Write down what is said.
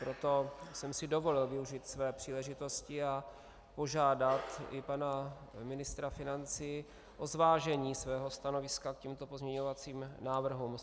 Proto jsem si dovolil využít své příležitosti a požádat i pana ministra financí o zvážení svého stanoviska k těmto pozměňovacím návrhům.